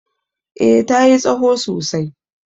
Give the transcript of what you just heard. eh ta yi tsaho sosai